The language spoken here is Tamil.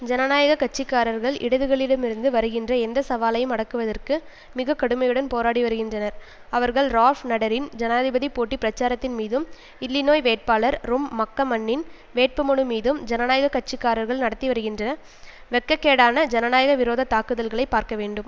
ஜனநாயக கட்சி காரர்கள் இடதுகளிடமிருந்து வருகின்ற எந்த சவாலையும் அடக்குவதற்கு மிக கடுமையுடன் போராடி வருகின்றனர் அவர்கள் ரால்ஃப் நாடெரின் ஜனாதிபதி போட்டி பிரச்சாரத்தின் மீதும் இல்லினோய் வேட்பாளர் ரொம் மக்கமன்னின் வேட்புமனு மீதும் ஜனநாயக கட்சி காரர்கள் நடத்திவருகின்ற வெட்ககேடான ஜனநாயக விரோத தாக்குதல்களை பார்க்க வேண்டும்